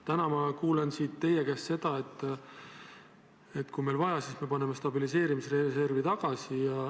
Täna ma kuulen teie käest seda, et kui meil on vaja, siis paneme stabiliseerimisreservi tagasi.